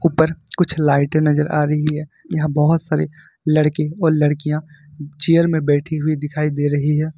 उपर कुछ लाइटे नजर आ रही है यहा बहुत सारे लड़के और लड़कियां चेयर में बैठी हुई दिखाई दे रही है।